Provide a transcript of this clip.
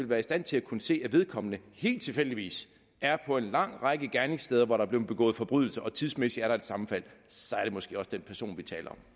være i stand til at kunne se hvis vedkommende helt tilfældigt er på en lang række gerningssteder hvor der er blevet begået forbrydelser og tidsmæssigt er sammenfald så er det måske også den person vi taler